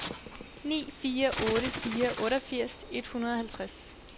ni fire otte fire otteogfirs et hundrede og halvtreds